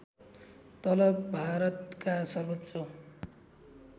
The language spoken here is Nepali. तलब भारतका सर्वोच्च